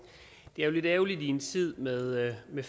det er jo lidt ærgerligt i en tid med med